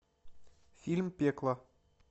фильм пекло